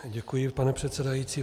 Děkuji, pane předsedající.